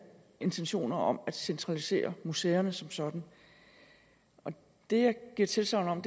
intentioner om at centralisere museerne som sådan det jeg giver tilsagn om